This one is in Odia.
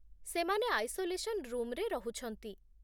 ସେମାନେ ଆଇସୋଲେସନ୍ ରୁମ୍‌ରେ ରହୁଛନ୍ତି